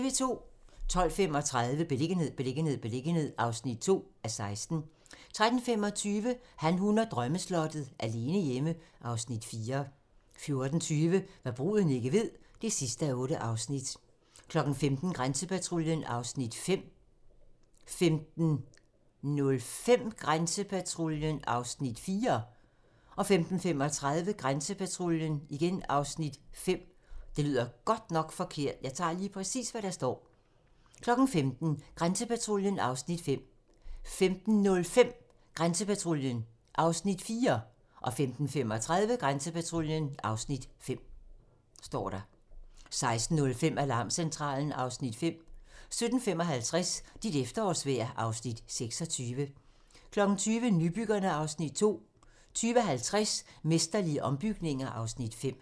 12:35: Beliggenhed, beliggenhed, beliggenhed (2:16) 13:25: Han, hun og drømmeslottet - alene hjemme (Afs. 4) 14:20: Hva' bruden ikke ved (8:8) 15:00: Grænsepatruljen (Afs. 5) 15:05: Grænsepatruljen (Afs. 4) 15:35: Grænsepatruljen (Afs. 5) 16:05: Alarmcentralen (Afs. 5) 17:55: Dit efterårsvejr (Afs. 26) 20:00: Nybyggerne (Afs. 2) 20:50: Mesterlige ombygninger (Afs. 5)